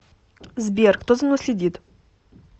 сбер кто за мной следит